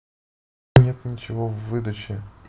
нет ничего в выдаче